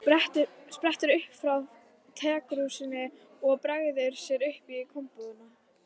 Sprettur upp frá tekrúsinni og bregður sér inn í kompuna.